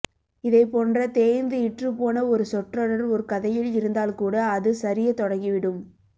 இதைப்போன்ற தேய்ந்து இற்றுப்போன ஒரு சொற்றொடர் ஒரு கதையில் இருந்தால்கூட அது சரியத்தொடங்கிவிடும்